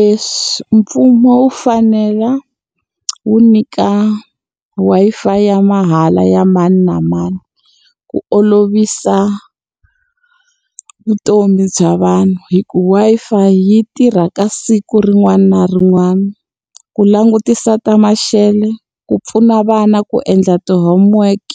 E mfumo wu fanele wu nyika Wi-Fi ya mahala ya mani na mani, ku olovisa vutomi bya vanhu. Hi ku Wi-Fi yi tirha ka siku rin'wana na rin'wana. Ku langutisa ta maxele, ku pfuna vana ku endla ti-homework,